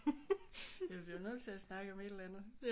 Vi bliver jo nødt til at snakke om et eller andet